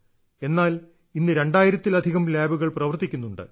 എന്നാൽ ഇന്ന് രണ്ടായിരത്തിലധികം ലാബുകൾ പ്രവർത്തിക്കുന്നുണ്ട്